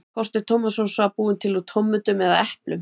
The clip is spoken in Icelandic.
Hvort er tómatsósa búin til úr tómötum eða eplum?